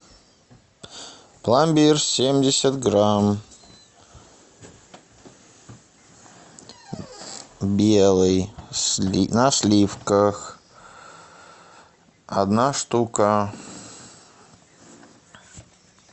пломбир семьдесят грамм белый на сливках одна штука